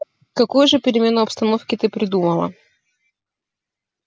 какую же перемену обстановки ты придумала